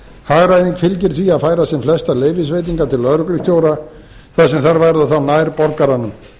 hagræðing fylgir því að færa sem flestar leyfisveitingar til lögreglustjóra þar sem þær verða þá nær borgaranum